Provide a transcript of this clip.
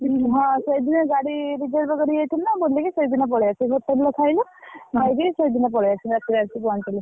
ହଁ, ସେଇଦିନ ଗାଡି reserve କରି ଯାଇଥିଲୁ ନା ବୁଲିକି ସେଇଦିନ ପଳେଇଆସିଲୁ hotel ରେ ଖାଇଲୁ, ଖାଇକି ସେଇଦିନ ପଳେଇଆସିଲୁ ରାତିରେ ଆସି ପହଁଚିଲି।